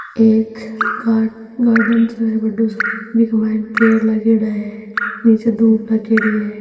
एक guard garden सो है बढ़ो सारो बिक मायने पेड़ लागयोड़ा है नीचे धुब रखेड़ी है।